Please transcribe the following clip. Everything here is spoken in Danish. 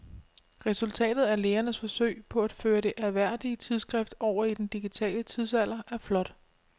Resultatet af lægernes forsøg på at føre det ærværdige tidsskrift over i den digitale tidsalder er flot.